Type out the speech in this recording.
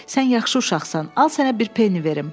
Sən yaxşı uşaqsan, al sənə bir peni verim.